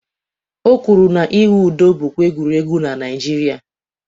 O kwụrụ na-ịwụ ụdọ bụkwa egwuregwu na Naịjirịa